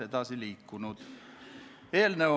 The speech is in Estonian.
Head kolleegid!